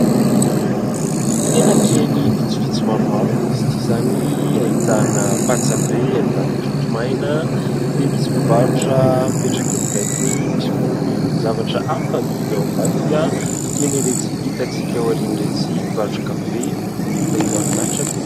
Tsena kely vitsivitsy maromaro moa izy ity izany ahitana patsa be ahitana trondro maina dia misy mpivarotra mipetraka mipetraka eo akaikiny misy koa ny zavatra hafa amidy ao ambadika toy ny iretsy itan-tsika ao aoriana iretsy mpivarotra kafe dia mahafinaritra be